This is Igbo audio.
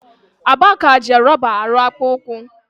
Aba ka ji rọba arụ akpụkpọ ụkwụ.